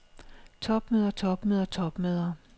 topmøder topmøder topmøder